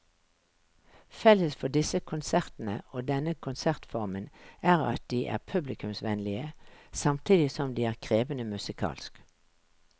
Felles for disse konsertene og denne konsertformen er at de er publikumsvennlige samtidig som de er krevende musikalsk.